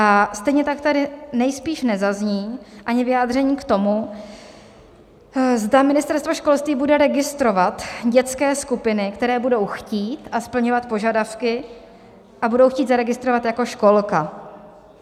A stejně tak tady nejspíš nezazní ani vyjádření k tomu, zda Ministerstvo školství bude registrovat dětské skupiny, které budou chtít a splňovat požadavky a budou chtít zaregistrovat jako školka.